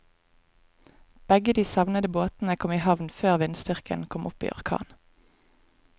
Begge de savnede båtene kom i havn før vindstyrken kom opp i orkan.